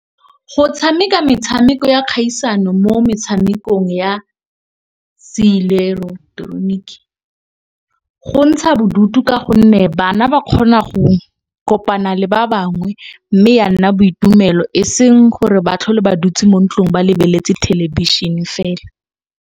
Go tshameka metshameko ya kgaisano mo metshamekong ya se ileketeroniki go ntsha bodutu. Ka gonne, bana ba kgona go kopana le ba bangwe mme ya nna boitumelo eseng gore ba tlhole ba dutse mo ntlong ba lebeletse thelebišhene fela.